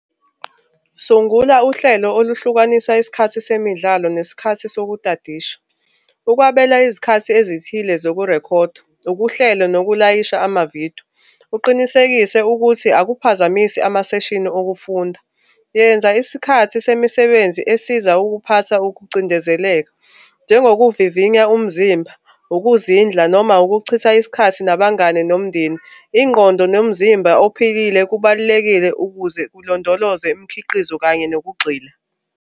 Sungula uhlelo oluhlukanisa isikhathi semidlalo nesikhathi sokutadisha. Ukwabela izikhathi ezithile zokurekhodwa, ukuhlela nokulayisha amavidiyo. Uqinisekise ukuthi akuphazamisi ama-session okufunda. Yenza isikhathi semisebenzi esiza ukuphatha ukucindezeleka njengokuvivinya umzimba, ukuzindla noma ukuchitha isikhathi nabangani nomndeni. Ingqondo nomzimba ophilile kubalulekile ukuze ulondoloze imikhiqizo kanye nokugxila.